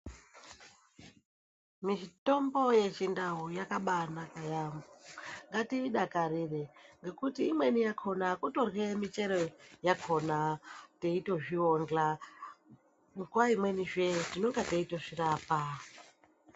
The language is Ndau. Mitombo yechindau yakabaanaka yamho ngatiidakarire ngekuti imweni yakona kutorye michero yakona teitozviondla nguwaimwenizve tinonga teitozvirapa.